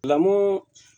Lamɔ